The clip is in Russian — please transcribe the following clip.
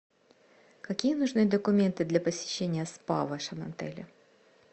какие нужны документы для посещения спа в вашем отеле